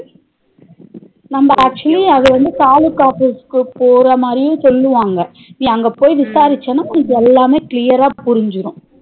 நம்ம actually அதுவந்து தாலுகா போறமாதிரி சொல்லுவாங்க நீ அங்க போய் விசாரிச்சானா உனக்கு எல்லாமே clear ரா புருஞ்சிரும்